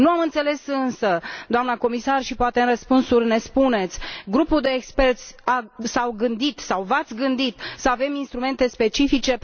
Nu am înțeles însă, doamnă comisar, și poate în răspunsuri ne spuneți, grupul de experți s a gândit sau v ați gândit să avem instrumente specifice?